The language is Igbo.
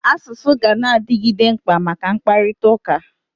Asụsụ ganadigide mkpa maka mkpakụrịta ụka.